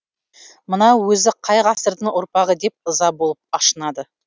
мынау өзі қай ғасырдың ұрпағы деп ыза болып ашынады